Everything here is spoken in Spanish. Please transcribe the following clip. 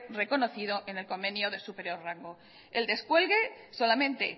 reconocido en el convenio de superior rango el descuelgue solamente